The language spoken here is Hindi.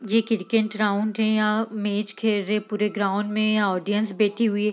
ये क्रिकेट ग्राउंड है यहाँ मैच खेल रहे हैं पुरे ग्राउंड में ऑडियंस बैठी हुई --